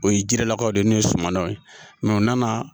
O ye jidalakaw de n'o ye sumanw ye u nana